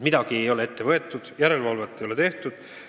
Midagi ei ole ette võetud, järelevalvet ei ole tehtud.